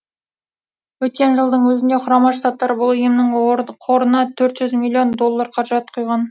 өткен жылдың өзінде құрама штаттар бұл ұйымның қорына төрт жүз миллион доллар қаражат құйған